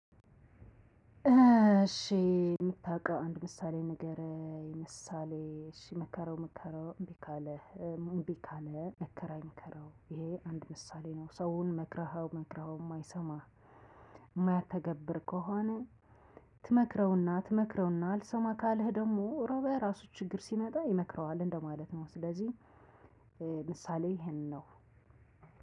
እሽ እምታዉቀው አንድ ምሳሌ ንገረኝ ምሳሌ እሽ ምከረው ምከረው። እምቢ ካለ መከራ ይምከረው ይሄ አንድ ምሳሌ ነው። ሰውን መክረኸው መክረኸው እማይሰማ የማያተገብር ከሆነ። ትመክረውና ትመክረውና አልሰማ ካለህ ደግሞ ሮበ ራሱ ችግር ሲመጣ ይመክረዋል እንደማለት ነው። ስለዚህ ምሳሌ ይሄንን ነው